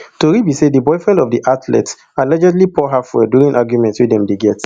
tori be say di boyfriend of di athlete allegedly pour her fuel during argument wey dem dey get